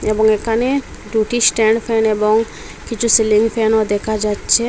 এবং এখানে দুটি স্ট্যান্ড ফ্যান এবং কিছু সিলিং ফ্যানও দেখা যাচ্ছে।